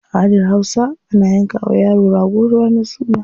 A aladar hausa, ana yanka wa yaro rago ranar suna.